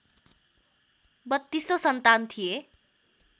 बत्तीसौँ सन्तान थिए